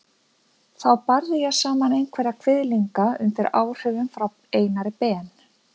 Þá barði ég saman einhverja kviðlinga undir áhrifum frá Einari Ben.